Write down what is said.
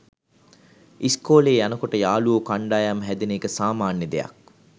ඉස්කෝලේ යනකොට යාළුවො කණ්ඩායම් හැදෙන එක සාමාන්‍ය දෙයක්